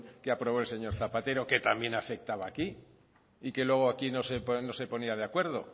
que aprobó el señor zapatero que también afectaba aquí y que luego aquí no se ponía de acuerdo